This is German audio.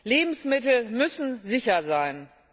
Lebensmittel müssen sicher sein.